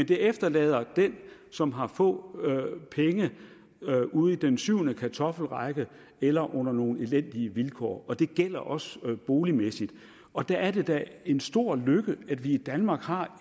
det efterlader den som har få penge ude i den syvende kartoffelrække eller under nogle elendige vilkår og det gælder også boligmæssigt og dér er det da en stor lykke at vi i danmark har